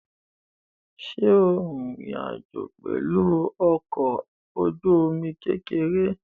Ṣé o rin ìrìn àjò pẹ̀lú ọkọ̀-ojúomi kékeré?